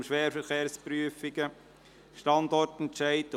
Kompetenzzentrum Schwerverkehrsprüfungen […].